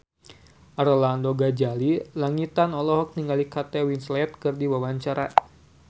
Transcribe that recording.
Arlanda Ghazali Langitan olohok ningali Kate Winslet keur diwawancara